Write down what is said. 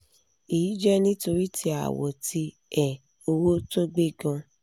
eyi je nitori ti awo ti um owo to gbe gan